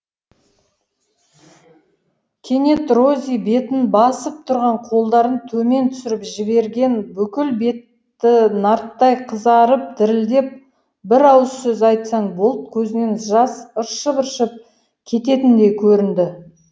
кенет рози бетін басып тұрған қолдарын төмен түсіріп жіберген бүкіл беті нарттай қызарып дірілдеп бір ауыз сөз айтсаң болды көзінен жас ыршып ыршып кететіндей көрінді